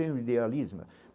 É um idealismo.